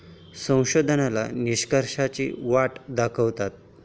संशोधकाला निष्कर्षांची वाट दाखवते.